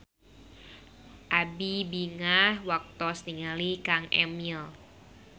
Abi bingah waktos ninggali Kang Emil